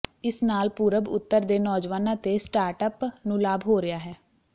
ਇਸ ਨਾਲ ਪੂਰਬ ਉੱਤਰ ਦੇ ਨੌਜਵਾਨਾਂ ਤੇ ਸਟਾਰਟਅਪ ਨੂੰ ਲਾਭ ਹੋ ਰਿਹਾ ਹੈ